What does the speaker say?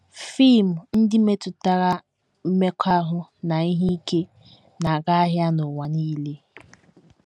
Fim ndị metụtara mmekọahụ na ihe ike na - aga ahịa n’ụwa nile.